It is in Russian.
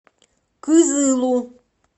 кызылу